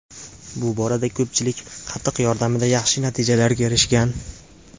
Bu borada ko‘pchilik, qatiq yordamida yaxshi natijalarga erishgan.